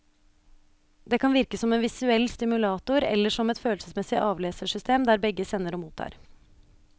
Det kan virke som en visuell stimulator eller som et følelsesmessig avlesersystem, der begge sender og mottar.